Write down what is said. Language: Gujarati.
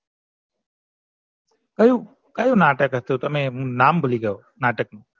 કયું નાટક હતું તમેં નાટક ભૂલી ગયો નાટક નું